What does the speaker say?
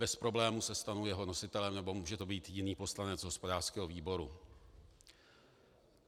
Bez problému se stanu jeho nositelem, nebo může to být jiný poslanec hospodářského výboru.